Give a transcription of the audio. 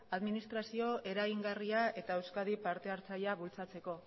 administrazio eragingarria eta euskadi partehartzailea bultzatzeko